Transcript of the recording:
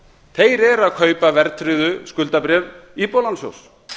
þeir eru að kaupa verðtryggð skuldabréf íbúðalánasjóðs